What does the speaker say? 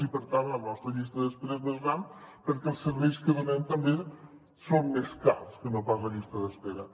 i per tant la nostra llista d’espera és més gran perquè els serveis que donem també són més cars que no pas la llista d’espera